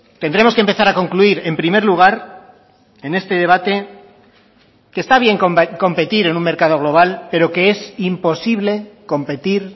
tendremos que empezar a concluir en primer lugar en este debate que está bien competir en un mercado global pero que es imposible competir